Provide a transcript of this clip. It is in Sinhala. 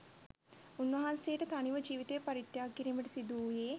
උන්වහන්සේට තනිව ජීවිතය පරිත්‍යාග කිරීමට සිදු වුයේ